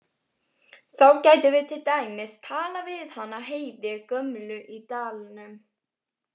Þá gætum við til dæmis talað við hana Heiði gömlu í dalnum.